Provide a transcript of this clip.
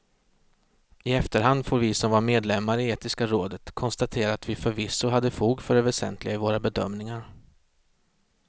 I efterhand får vi som var medlemmar i etiska rådet konstatera att vi förvisso hade fog för det väsentliga i våra bedömningar.